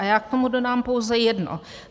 A já k tomu dodám pouze jedno.